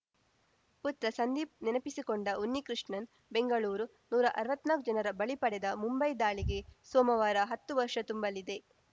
ಪುತ್ರ ಸಂದೀಪ್‌ ನೆನಪಿಸಿಕೊಂಡ ಉನ್ನಿಕೃಷ್ಣನ್‌ ಬೆಂಗಳೂರು ನೂರಾ ಅರ್ವತ್ನಾಕು ಜನರ ಬಲಿ ಪಡೆದ ಮುಂಬೈ ದಾಳಿಗೆ ಸೋಮವಾರ ಹತ್ತು ವರ್ಷ ತುಂಬಲಿದೆ